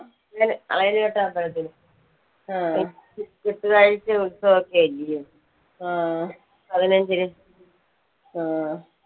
ഉത്സവൊക്കെ അല്ലയോ പതിനഞ്ചിന്